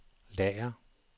lager